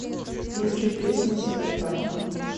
включи песня суета